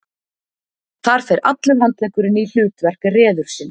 Þar fer allur handleggurinn í hlutverk reðursins.